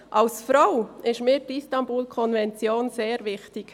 Als Frau ist mir die Istanbul-Konvention sehr wichtig.